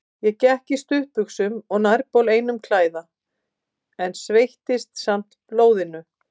Ég gekk í stuttbuxum og nærbol einum klæða, en sveittist samt blóðinu.